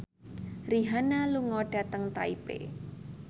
Rihanna lunga dhateng Taipei